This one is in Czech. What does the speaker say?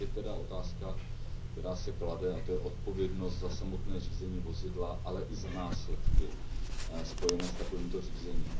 Pak je tedy otázka, která se klade, a to je odpovědnost za samotné řízení vozidla, ale i za následky spojené s takovým řízením.